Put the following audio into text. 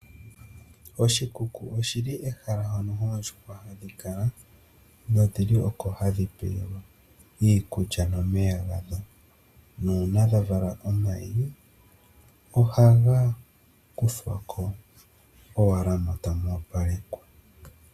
Oshikuku oshili ehala mo no oondjuhwa ha dhi kala, nodhi li oko hadhi pelwa ikulya nomeya ga dho, nuuna dha vala omayi oha ga kuthwa ko owala mo ta mu opalekwa.